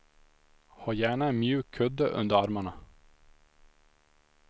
Ha gärna en mjuk kudde under armarna.